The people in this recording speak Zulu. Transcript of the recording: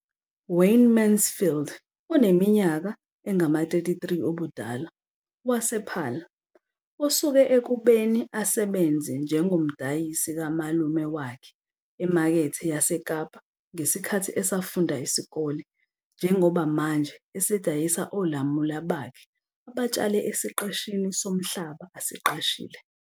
Wayne Mansfield, oneminyaka engama-33 ubudala, wasePaarl, osuke ekubeni asebenze njengomdayisi kamalume wakhe eMakethe yaseKapa ngesikhathi esafunda isikole njengoba manje esedayisa olamula bakhe abatshale esiqeshini somhlaba asiqashile.